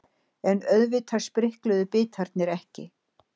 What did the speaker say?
En auðvitað sprikluðu bitarnir ekki.